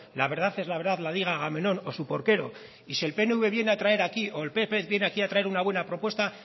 la verdad es la verdad la diga agamenón o su porquero y si el pnv viene a traer aquí o el pp viene aquí a traer una buena propuesta